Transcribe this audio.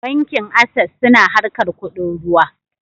Bankin Ases suna harkar kuɗin ruwa